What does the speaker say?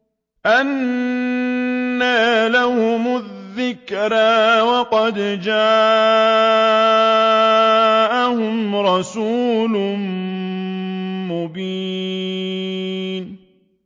أَنَّىٰ لَهُمُ الذِّكْرَىٰ وَقَدْ جَاءَهُمْ رَسُولٌ مُّبِينٌ